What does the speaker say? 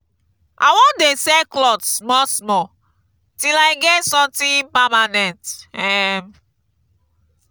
i wan dey sell cloth small small till i get something permanent. um